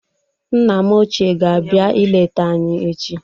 Nna m ochie ga-abịa ileta anyị echi.